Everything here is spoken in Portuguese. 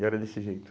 E era desse jeito.